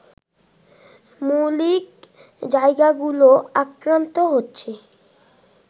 মৌলিক জায়গাগুলো আক্রান্ত হচ্ছে